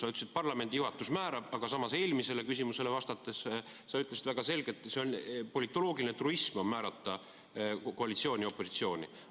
Sa ütlesid, et parlamendi juhatus määrab, aga samas eelmisele küsimusele vastates sa ütlesid väga selgelt, et politoloogiline truism on määrata koalitsiooni ja opositsiooni.